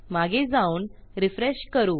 मागे जाऊन रिफ्रेश करू